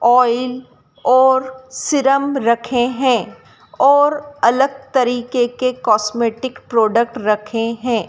Oil और serum रखे हैं और अलग तरीके के कॉस्मेटिक प्रोडक्ट रखे हैं।